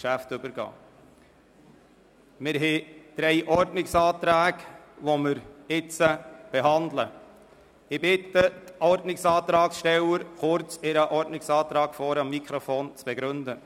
Ich bitte die Ordnungsantragsteller kurz ihren Ordnungsantrag vorne am Mikrofon zu begründen.